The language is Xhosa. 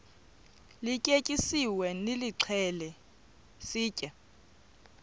lityetyisiweyo nilixhele sitye